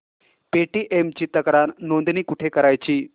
Paytm ची तक्रार नोंदणी कुठे करायची